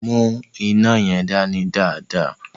Mu ina yẹn dani dáadáa.